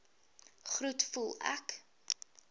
groet voel ek